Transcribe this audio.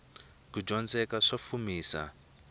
kudyondzeka sa fumisa